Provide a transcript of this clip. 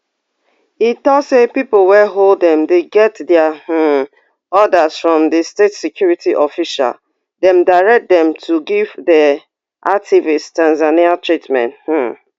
e tok say pipo wey hold dem dey get dia um orders from di state security official dem direct dem to give di activists tanzanian treatment um